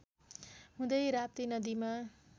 हुँदै राप्ती नदीमा